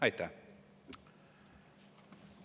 Aitäh!